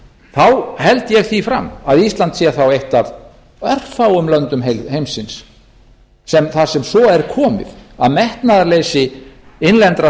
þá held ég því fram að ísland sé eitt af örfáum löndum heimsins þar sem svo er komið að metnaðarleysi innlendra